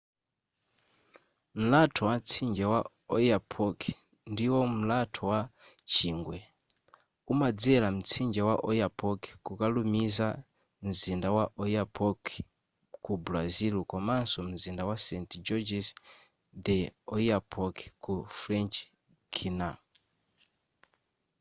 mlatho wa mtsinje wa oyapock ndiwo mlatho wa chingwe umadzera mtsinje wa oyapock kukalumiza mzinda wa oiapoque ku brazil komanso mzinda wa saint-georges de l'oyapock ku french guiana